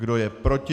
Kdo je proti?